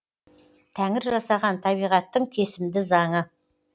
тәңір жасаған табиғаттың кесімді заңы